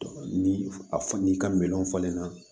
Ni a n'i ka miliyɔn falenna